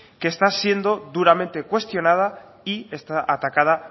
que está siendo duramente cuestionada y está atacada